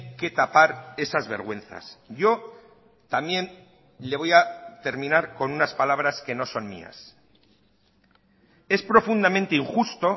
que tapar esas vergüenzas yo también le voy a terminar con unas palabras que no son mías es profundamente injusto